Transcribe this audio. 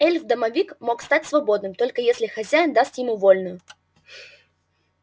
эльф-домовик мог стать свободным только если хозяин даст ему вольную